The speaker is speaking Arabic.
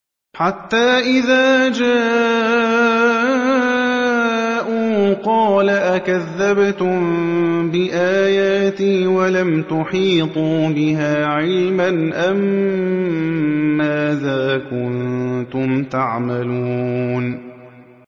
حَتَّىٰ إِذَا جَاءُوا قَالَ أَكَذَّبْتُم بِآيَاتِي وَلَمْ تُحِيطُوا بِهَا عِلْمًا أَمَّاذَا كُنتُمْ تَعْمَلُونَ